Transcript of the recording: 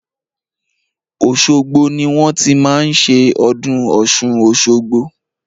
Òṣogbo ni wọ́n ti máa ń ṣe ọdún Ọ̀ṣun-Òṣogbo.